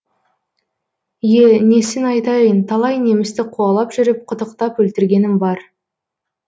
е несін айтайын талай немісті қуалап жүріп қытықтап өлтіргенім бар